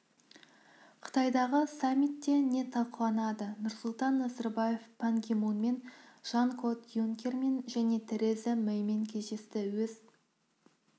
қытайдағы саммитте не талқыланады нұрсұлтан назарбаев пан ги мунмен жан-клод юнкермен және тереза мэймен кездесті өз